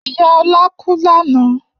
Iya Ola ku lana